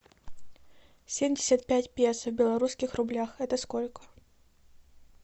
семьдесят пять песо в белорусских рублях это сколько